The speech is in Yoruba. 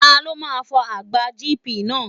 Ta ló máa fọ àgbá GP náà.?